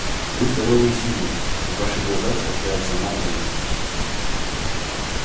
вы здоровый и сильный и в ваших глазах сверкает сама жизнь